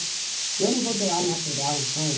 Eu não vou doar material, não.